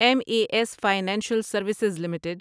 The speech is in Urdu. M A S financial services limited